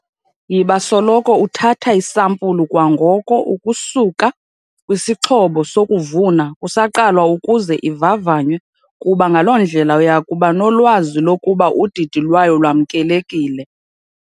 Yiba soloko uthatha isampulu kwangoko ukusuka kwisixhobo sokuvuna kusaqalwa ukuze ivavanywe kuba ngaloo ndlela uya kuba nolwazi lokuba udidi lwayo lwamkelekile.